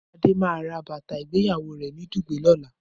Adé máa ra bàtà ìgbéyàwó rẹ̀ ní Dùgbẹ̀ lọ́la.